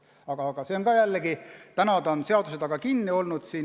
Praegu on see seaduse taga kinni olnud.